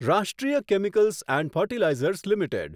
રાષ્ટ્રીય chemicals and fertilizers limited